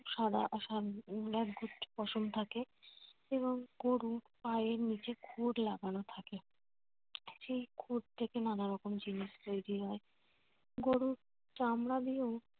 একগুচ্ছ পশম থাকে। এবং গরুর পায়ের নিচে খুর লাগানো থাকে। সেই খুর থেকে নানা রকম জিনিস তৈরি হয়। গরুর চামড়া দিয়েও